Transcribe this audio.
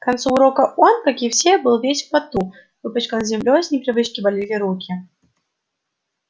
к концу урока он как и все был весь в поту выпачкан землёй с непривычки болели руки